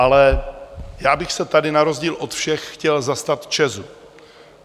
Ale já bych se tady, na rozdíl od všech, chtěl zastat ČEZ.